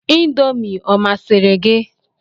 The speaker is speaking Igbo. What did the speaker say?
Indomi ọ masịrị gị?